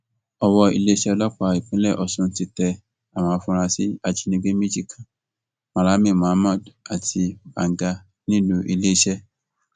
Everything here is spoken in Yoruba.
owó iléeṣẹ ọlọpàá ìpínlẹ ọsùn ti tẹ àwọn afurasí ajínigbé méjì kan malami muhammad àti babga nílùú iléeṣẹ